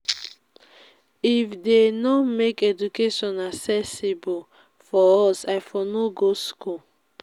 if dey no make education accessible for us i for no go school